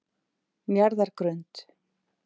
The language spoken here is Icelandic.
Njarðargrund